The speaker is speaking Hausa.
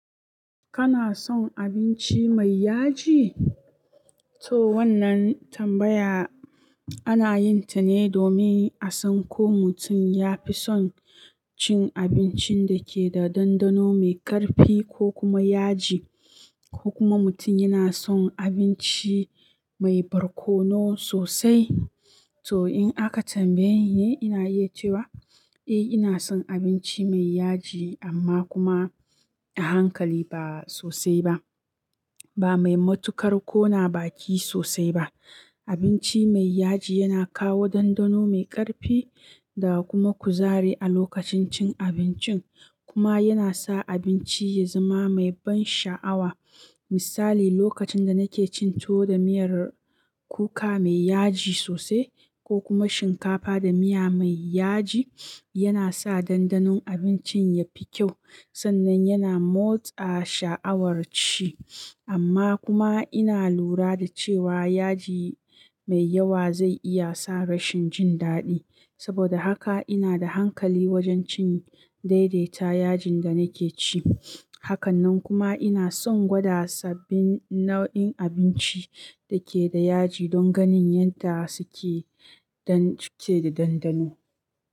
Kana son abinci mai yaji? To wannan tambaya ana yin ta ne domin a san ko mutum ya fi son cin abincin da ke da dandano mai ƙarfi ko kuma yaji ko kuma mutum yana son abinci mai barkono sosai. To in aka tambaye ni, ina iya cewa eh ina son abinci mai yaji amma kuma a hankali ba sosai ba, ba mai matuƙar ƙona baki sosai ba. Abinci mai yaji yana kawo dandano mai ƙarfi da kuma kuzari a lokacin cin abincin kuma yana sa abinci ya zama mai ban sha'awa. Misali, lokacin da nake cin tuwo da miyar kuka mai yaji sosai ko kuma shinkafa da miya mai yaji, yana sa dandanon abincin ya fi kyau sannan yana motsa sha'awar ci. Amma kuma ina lura da cewa yaji mai yawa zai iya sa rashin jin daɗi. Saboda haka ina da hankali wajen cin daidaita yajin da nake ci. Hakanan kuma ina son gwada sabbin nau'in abinci da ke da yaji don ganin yadda suke da dandano.